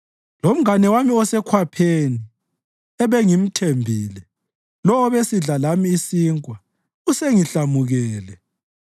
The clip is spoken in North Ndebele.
Lomngane wami osekhwapheni, ebengimthembile, lowo obesidla lami isinkwa usengihlamukele.